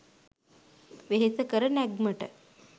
වෙහෙසකර නැග්මට